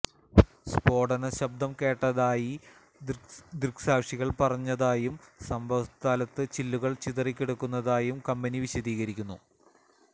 സ്ഫോടന ശബ്ദം കേട്ടതായി ദൃക്സാക്ഷികള് പറഞ്ഞതായും സംഭവസ്ഥലത്ത് ചില്ലുകള് ചിതറിക്കിടക്കുന്നതായും കമ്പനി വിശദീകരിക്കുന്നു